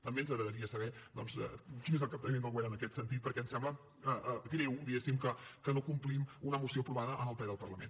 també ens agradaria saber doncs quin és el capteniment del govern en aquest sentit perquè ens sembla greu diguéssim que no complim una moció aprovada en el ple del parlament